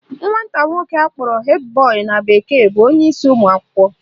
Nwata akwụkwọ nwoke akpọrọ head boy na bekee bụ onyeisi ụmụakwụkwọ